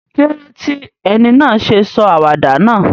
Kílódé ti eni náà sé sọ àwàdà náà?